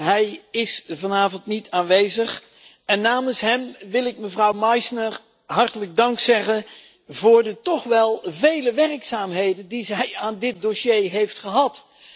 Hij is vanavond niet aanwezig en namens hem wil ik mevrouw Meisner hartelijk dank zeggen voor de toch wel vele werkzaamheden die zij aan dit dossier heeft gehad.